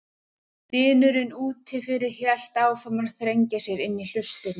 Dynurinn úti fyrir hélt áfram að þrengja sér inn í hlustirnar.